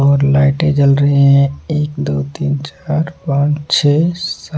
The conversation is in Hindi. और लाइटें जल रही हैं एक दो तीन चार पांच छः सा--